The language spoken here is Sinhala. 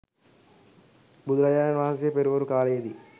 බුදුරජාණන් වහන්සේ පෙරවරු කාලයේ දී